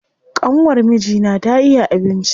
ƙanwar mijina ta iya abinci.